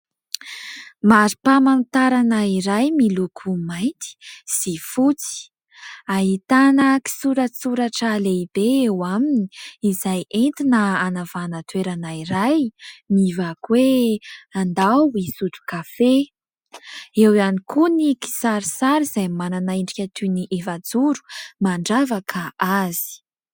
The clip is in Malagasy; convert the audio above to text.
Mari-pamantarana iray miloko mainty sy fotsy. Ahitana kisoratsoratra lehibe eo aminy izay entina anavahana toerana iray mivaky hoe : andao hisotro kafe. Eo ihany koa ny kisarisary izay manana endrika toy ny efajoro mandravaka azy.